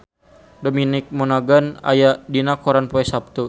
Dominic Monaghan aya dina koran poe Saptu